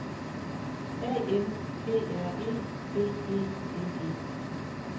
A N G R E B E N E